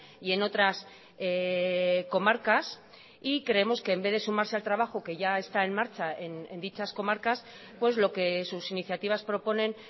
y en otras comarcas y creemos que en vez de sumarse al trabajo que ya está en marcha en dichas comarcas pues lo que sus iniciativas proponen